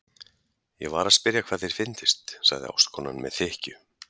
Ég var að spyrja hvað þér fyndist, sagði ástkonan með þykkju.